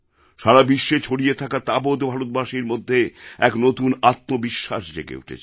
সারা বিশ্বে ছড়িয়ে থাকা তাবৎ ভারতবাসীর মধ্যে এক নতুন আত্মবিশ্বাস জেগে উঠেছিল